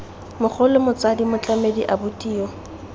mogolo motsadi motlamedi abuti yo